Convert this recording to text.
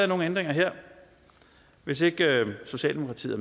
nogen ændringer her hvis ikke socialdemokratiet